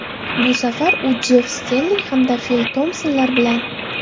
Bu safar u Jeff Stelling hamda Fil Tompsonlar bilan.